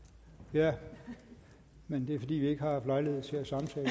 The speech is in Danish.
ja men det er fordi vi ikke har haft lejlighed til